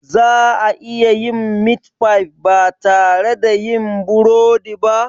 Za a iya yin meat pie ba tare da yin burodi ba?